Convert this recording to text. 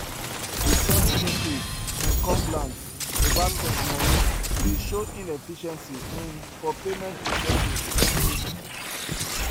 di sudden increase in complaints about sent moni dey show inefficiency um for payment processing um